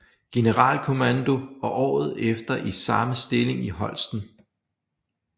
Generalkommando og året efter i samme stilling i Holsten